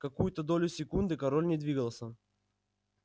какую-то долю секунды король не двигался